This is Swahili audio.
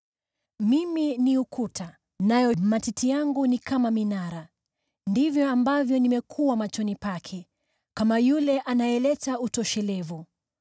Mimi ni ukuta, nayo matiti yangu ni kama minara. Ndivyo ambavyo nimekuwa machoni pake kama yule anayeleta utoshelevu.